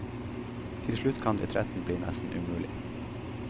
Til slutt kan retretten bli nesten umulig.